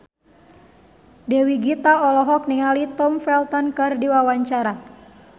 Dewi Gita olohok ningali Tom Felton keur diwawancara